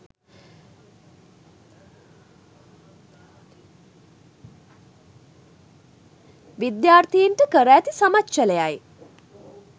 විද්‍යාර්ථීන්ට කර ඇති සමච්චලයයි.